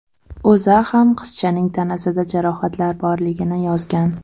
O‘zA ham qizchaning tanasida jarohatlar borligini yozgan.